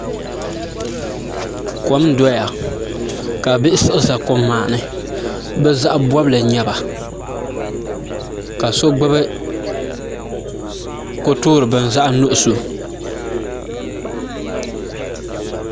Kom n doya ka bihi siɣi ʒɛ kom maa ni bi zaɣ bobli n nyɛba ka so gbubi ko toori bini zaɣ nuɣso